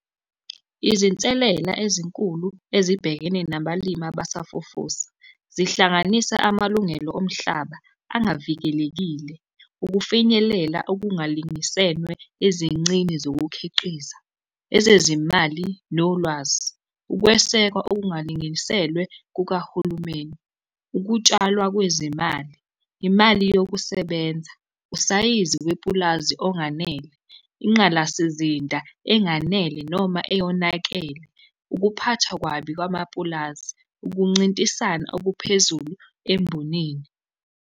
Izinselela ezinkulu ezibhekene nabalimi abasafufusa zihlanganisa amalungelo omhlaba angavikelekile, ukufinyelela okungalingisenwe ezincini zokukhiqiza. Ezezimali nolwazi, ukwesekwa okungalinginiselwe kukahulumeni. Ukutshalwa kwezimali, imali yokusebenza, usayizi wepulazi onganele, inqalasizinda enganele noma eyonakele. Ukuphathwa kwabi kwamapulazi, ukuncintisana okuphezulu embonini.